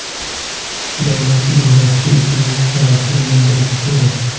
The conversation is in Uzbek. Davlat idorasi o‘zining qarashini bildirishi kerak.